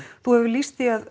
þú hefur lýst því að